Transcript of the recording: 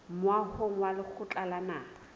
moahong wa lekgotla la naha